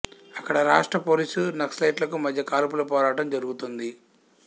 అక్కడ రాష్ట్ర పోలీసు నక్సలైట్లకు మధ్య కాల్పుల పోరాటం జరుగుతోంది